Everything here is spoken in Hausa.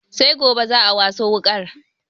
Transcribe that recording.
Sai gobe za'a waso wuƙar